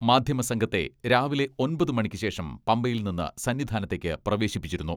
മാധ്യമസംഘത്തെ രാവിലെ ഒമ്പതു മണിക്കുശേഷം പമ്പയിൽ നിന്ന് സന്നിധാനത്തേക്ക് പ്രവേശിപ്പിച്ചിരുന്നു.